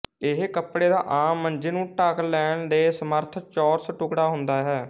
ਇਹ ਕੱਪੜੇ ਦਾ ਆਮ ਮੰਜੇ ਨੂੰ ਢੱਕ ਲੈਣ ਦੇ ਸਮਰਥ ਚੌਰਸ ਟੁਕੜਾ ਹੁੰਦਾ ਹੈ